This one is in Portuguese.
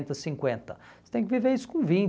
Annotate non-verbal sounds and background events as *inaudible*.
*unintelligible* cinquenta. Você tem que viver isso com